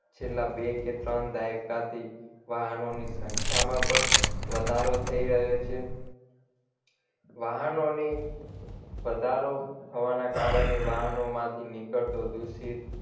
છેલ્લા બે કે ત્રણ દાયકાથી વાહનોની સંખ્યામાં પણ વધારો થઈ રહ્યો છે વાહનોની વધારો થવાના કારણે વાહનોમાંથી નીકળતો દૂષિત